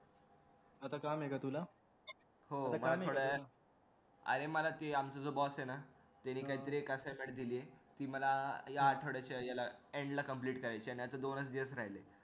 आता कळालंय का तुला अरे मला ते तुझं boss आहे ना त्याने काहीतरी एक assignment दिलेय ती मला या आठवड्याच्या end ला complete करायचेय नि आता दोनच दिवस राहिलेत